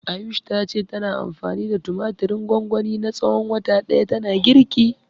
Ayush ta ce tana anfani da tumatirin gwangwani na tsawon wata ɗaya tana girki.